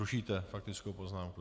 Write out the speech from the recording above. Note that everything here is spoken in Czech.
Rušíte faktickou poznámku?